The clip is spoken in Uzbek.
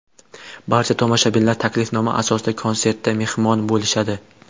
Barcha tomoshabinlar taklifnoma asosida konsertda mehmon bo‘lishadi.